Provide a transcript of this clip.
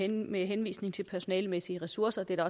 med henvisning til personalemæssige ressourcer det er